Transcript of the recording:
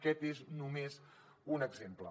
aquest és només un exemple